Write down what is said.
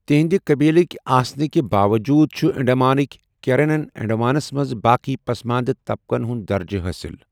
تِہنٛدِ قٔبلٕک آسنہٕ کہِ باووٚجوٗد چھِ انڈمانٕک کیرنَن انڈمانَس منٛز باقی پسماندٕ طبقَن ہُنٛد درجہِ حٲِصل۔